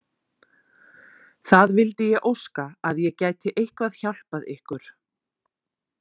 Það vildi ég óska að ég gæti eitthvað hjálpað ykkur!